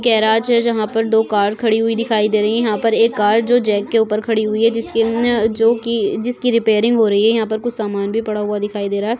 Garage है जहाँ पर दो कार खड़ी हुई दिखाई दे रही है यहाँ पर एक कार जो जॅक के ऊपर खड़ी हुई है जिसके अन् जो की जिसकी रिपेयरिंग हो रही है यहाँ पर कुछ सामान भी पड़ा हुआ दिखाई दे रहा है।